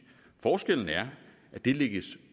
forskellen er at det lægges